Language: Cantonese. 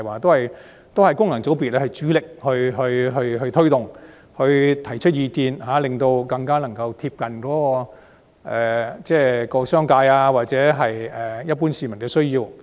這些措施由功能界別主力推動及提出意見，令它們更貼近商界或一般市民的需要。